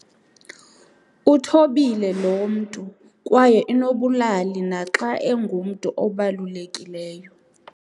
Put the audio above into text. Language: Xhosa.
Uthobile loo mntu kwaye unobulali naxa engumntu obalulekileyo.